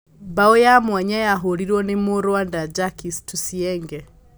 Mbaũ ya mwanya yahũrirwo nĩ mũ-Rwanda Jacques Tuyisenge.